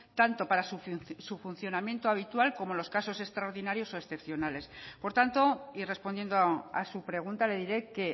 tanto para su funcionamiento habitual como los casos extraordinarios o excepcionales por tanto y respondiendo a su pregunta le diré que